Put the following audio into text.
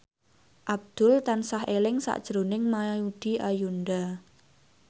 Abdul tansah eling sakjroning Maudy Ayunda